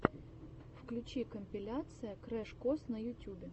включи компиляция крэш кос на ютюбе